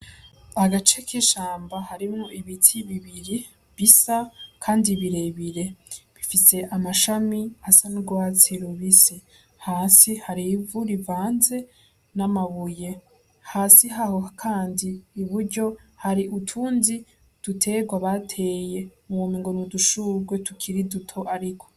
Agace k'ishamba harimwo ibiti bibiri bisa kandi birebire, bifise amashami asa n'ugwatsi rubisi, hasi hari ivu rivanze n'amabuye, hasi haho kandi iburyo hari utundi dutegwa bateye womengo n'udushurwe tukiri duto ariko.